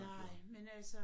Nej men altså